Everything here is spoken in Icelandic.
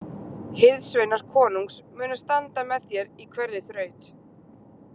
Hirðsveinar konungs munu standa með þér í hverri þraut.